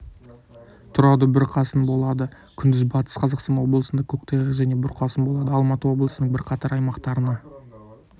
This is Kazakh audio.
тұрады бұрқасын болады күндіз батыс қазақстан облысында көктайғақ және бұрқасын болады алматы облысының бірқатар аймақтарына